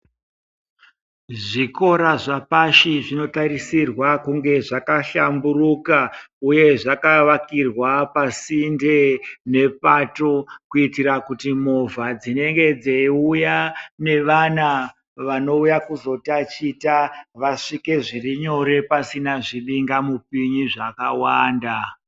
zvikora zvapashi zvinotarisirwa kunge zvabahlamburuka uye zvakavakirwa pasinde nepato kuitira kuti movha dzinenge dzeiuya nevana vanouya kyzotaticha vasvike zviri nyore pasina zvibinga mupini zvakawanda.